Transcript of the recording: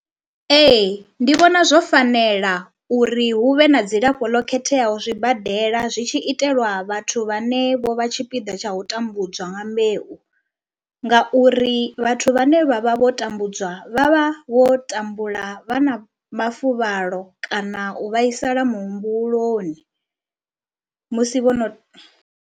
Ee ndi vhona zwo fanela uri hu vhe na dzilafho ḽo khetheaho zwibadela zwi tshi itelwa vhathu vhane vho vha tshipiḓa tsha u tambudzwa nga mbeu ngauri vhathu vhane vha vha vho tambudzwa vha vha vho tambula vha na mafuvhalo kana u vhaisala muhumbuloni musi vho no.